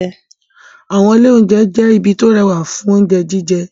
Àwọn ilé-oúnjẹ jẹ́ ibi tó rẹwà fún oúnjẹ jíjẹ.